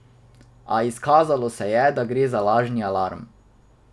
A, izkazalo se je, da gre za lažni alarm.